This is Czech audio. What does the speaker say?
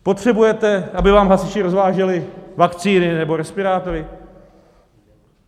Potřebujete, aby vám hasiči rozváželi vakcíny nebo respirátory?